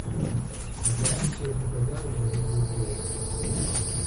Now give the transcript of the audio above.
оплати своему хозяину мобильную связь